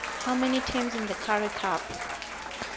how many teams in the currie cup